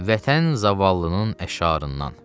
Vətən zavallının əşarından.